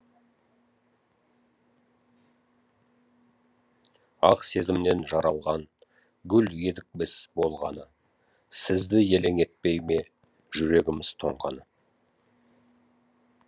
ақ сезімнен жаралған гүл едік біз болғаны сізді елең етпей ме жүрегіміз тоңғаны